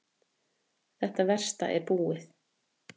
Þetta versta er búið.